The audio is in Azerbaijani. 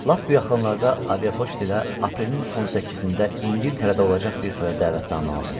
Lap bu yaxınlarda aviapoçt ilə aprelin 18-də İngiltərədə olacaq bir toya dəvətnamə aldım.